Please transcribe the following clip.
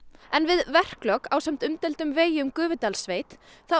en við verklok ásamt umdeildum vegi um Gufudalssveit